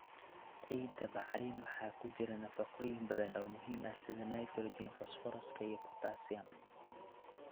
Ciidda bacrin ah waxaa ku jira nafaqooyin badan oo muhiim ah sida nitrogen, fosfooraska iyo potassium.